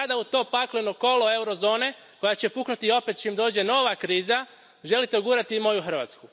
I sada u to pakleno kolo eurozone, koja će puknuti opet čim dođe nova kriza, želite ugurati i moju Hrvatsku.